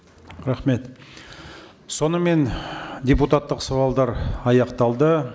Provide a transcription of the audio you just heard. рахмет сонымен депутаттық сауалдар аяқталды